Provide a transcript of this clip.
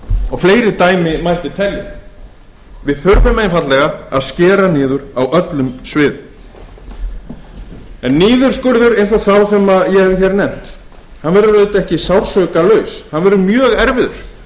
og fleiri dæmi mætti telja við þurfum einfaldlega að skera niður á öllum sviðum niðurskurður eins og sá sem ég hef nefnt verður auðvitað ekki sársaukalaus hann verður mjög erfiður